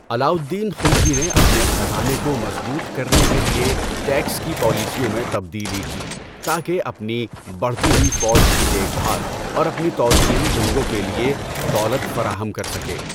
علاء الدین خلجی نے اپنے خزانے کو مضبوط کرنے کے لیے ٹیکس کی پالیسیوں میں تبدیلی کی تاکہ اپنی بڑھتی ہوئی فوج کی دیکھ بھال اور اپنی توسیعی جنگوں کے لیے دولت فراہم کر سکے۔